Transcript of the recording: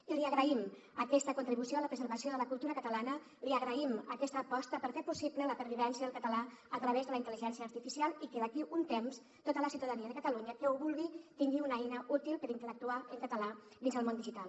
i li agraïm aquesta contribució a la preservació de la cultura catalana li agraïm aquesta aposta per fer possible la pervivència del català a través de la intel·ligència artificial i que d’aquí a un temps tota la ciutadania de catalunya que ho vulgui tingui una eina útil per interactuar en català dins del món digital